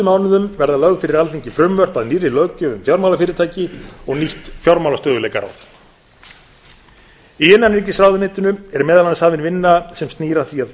mánuðum verða lögð fyrir alþingi frumvörp að nýrri löggjöf um fjármálafyrirtæki og nýtt fjármálastöðugleikaráð í innanríkisráðuneytinu er meðal annars hafin vinna sem snýr að því að